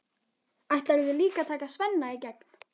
Ætlarðu líka að taka Svenna í gegn?